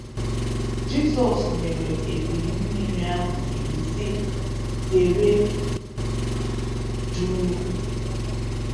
Jizọs nyere ebili-mmiri ahụ iwu sị, “Dere um duu.”